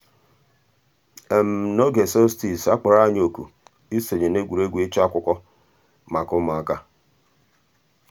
n'ǒgè solstice a kpọ̀rọ̀ ànyị̀ òkù ìsọǹyé n'ègwè́ré́gwụ̀ ịchụ̀ àkụ̀kwò mǎká ǔ́mụ̀àkà.